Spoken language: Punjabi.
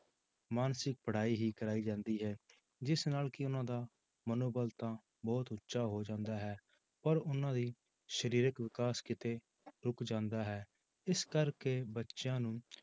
ਮਾਨਸਿਕ ਪੜ੍ਹਾਈ ਹੀ ਕਰਵਾਈ ਜਾਂਦੀ ਹੈ ਜਿਸ ਨਾਲ ਕਿ ਉਹਨਾਂ ਦਾ ਮਨੋਬਲ ਤਾਂ ਬਹੁਤ ਉੱਚਾ ਹੋ ਜਾਂਦਾ ਹੈ ਪਰ ਉਹਨਾਂ ਦੀ ਸਰੀਰਕ ਵਿਕਾਸ ਕਿਤੇ ਰੁੱਕ ਜਾਂਦਾ ਹੈ, ਇਸ ਕਰਕੇ ਬੱਚਿਆਂ ਨੂੰ